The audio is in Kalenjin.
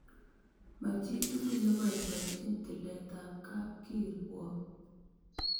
Ma chi tukul ne poipoenchin tilet ap kapkirwok .